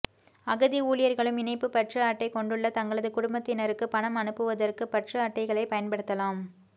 அகதி ஊழியர்களும் இணைப்பு பற்று அட்டை கொண்டுள்ள தங்களது குடும்பத்தினருக்கு பணம் அனுப்புவதற்குப் பற்று அட்டைகளைப் பயன்படுத்தலாம்